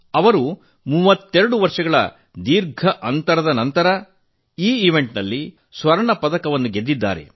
ಅವರು 32 ವರ್ಷಗಳ ದೀರ್ಘ ಅಂತರದ ನಂತರ ಈ ಸ್ಪರ್ಧೆಯಲ್ಲಿ ಕುಸ್ತಿಯಲ್ಲಿ ಚಿನ್ನದ ಪದಕ ಗೆದ್ದಿದ್ದಾರೆ